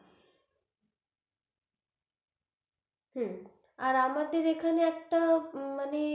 হম আর আমাদের এইখানে একটা মানে,